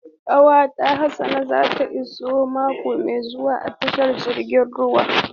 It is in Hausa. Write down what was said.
Kwantenan Hassan zai iso mako mai zuwa a tashar jiragen ruwa.